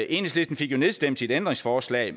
enhedslisten fik jo nedstemt sit ændringsforslag